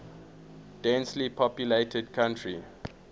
densely populated country